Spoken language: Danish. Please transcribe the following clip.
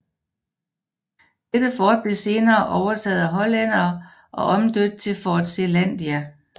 Dette fort blev senere overtaget af hollændere og omdøbt til Fort Zeelandia